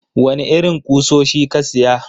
Wane irin kusoshi ka siya?